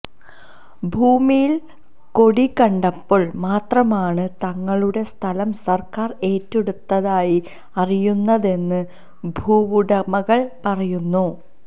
ഭൂമിയിൽ കൊടി കണ്ടപ്പോൾ മാത്രമാണ് തങ്ങളുടെ സ്ഥലം സർക്കാർ ഏറ്റെടുത്തതായി അറിയുന്നതെന്ന് ഭൂവുടമകൾ പറയുന്നു